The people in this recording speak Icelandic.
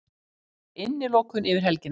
Refsingin var innilokun yfir helgina.